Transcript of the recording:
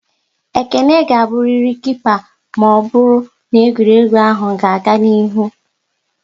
Ekene ga-aburiri Kipa maọbụru n'egwuregwu ahụ ga-aga n'ihu!